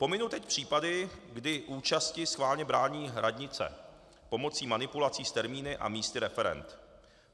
Pominu teď případy, kdy účasti schválně brání radnice pomocí manipulací s termíny a místy referend.